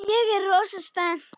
Ég er rosa spennt.